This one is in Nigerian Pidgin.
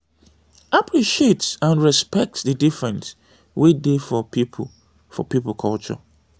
appreciate and respect di difference wey dey for pipo for pipo culture